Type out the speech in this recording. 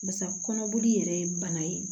Basa kɔnɔboli yɛrɛ ye bana ye